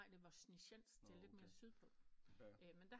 Nej det er Voznesensk det er lidt mere syd på men der